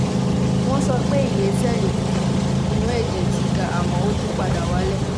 wọ́n sọ pé iye sẹ́ẹ̀lì funfun inú ẹ̀jẹ̀ ti ga àmọ́ ó tún padà wálẹ̀